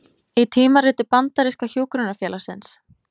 Í tímariti bandaríska hjúkrunarfélagsins